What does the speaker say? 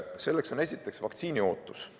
Selleks on esiteks vaktsiini ootus.